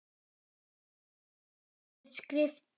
Af hverju er skrift til?